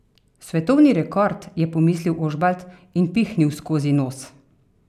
Svetovni rekord, je pomislil Ožbalt in pihnil skozi nos.